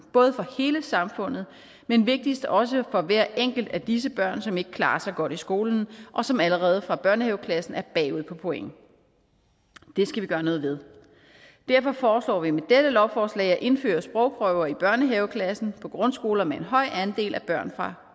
både for hele samfundet men vigtigst også for hver enkelt af disse børn som ikke klarer sig godt i skolen og som allerede fra børnehaveklassen er bagud på point det skal vi gøre noget ved derfor foreslår vi med dette lovforslag at indføre sprogprøver i børnehaveklassen på grundskoler med en høj andel af børn fra